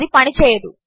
అదిపనిచేయదు